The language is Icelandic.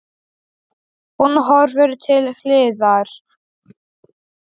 Hún hörfar til hliðar.